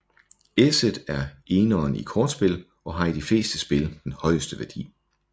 Esset er eneren i kortspil og har i de fleste spil den højeste værdi